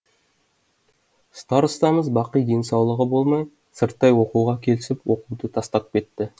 старостамыз бақи денсаулығы болмай сырттай оқуға келісіп оқуды тастап кетті